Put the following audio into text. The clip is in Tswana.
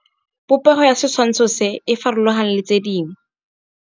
Popêgo ya setshwantshô se, e farologane le tse dingwe.